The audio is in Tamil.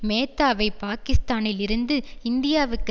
மேத்தாவை பாகிஸ்தானில் இருந்து இந்தியாவுக்கு